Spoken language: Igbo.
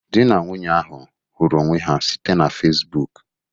Dị na nwunye ahụ hụrụ onwe ha site na Fecibuuku.